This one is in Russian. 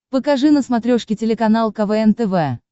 покажи на смотрешке телеканал квн тв